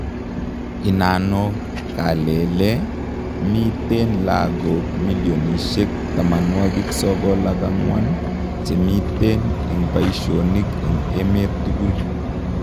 Inano kalele ,miten lagok milionishek 94 chemiten en paishonik en emet tugul